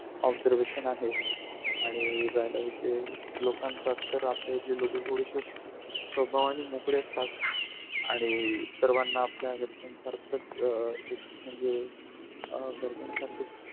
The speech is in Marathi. observation आहे आणि राहिला विषय लोकांचा तर आपल्या इथले लोक थोडेशे स्वभावाने मोकळे असतात आणि सर्वाना आपल्या घरच्यासारखच अ एक म्हणजे अ घरच्या सारखाच.